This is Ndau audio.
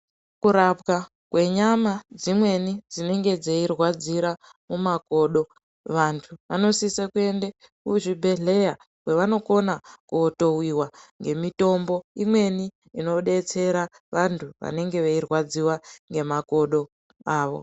Kurapwa kwenyama dzimweni dzinenge dzeirwadzira mumakodo vantu vanosisa kuenda kuzvibhedhleya kwavanokona kotowiwa ngemitombo imweni inodetsera antu vanenge veirwadziwa nemakodo avo.